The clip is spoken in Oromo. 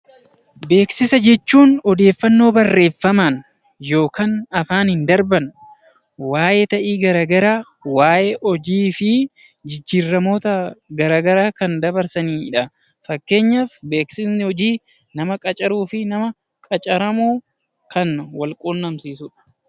Beeksisa jechuun odeeffannoo barreeffamaan yookaan afaan qofaan darban waayee ta'ii garaagaraa waayee hojii fi jijjiiramoota garaagaraa kan dabarsanidha. Fakkeenyaaf beeksifni hojii nama qacaranii fi nama qacaramu wal quunnamsiisudha.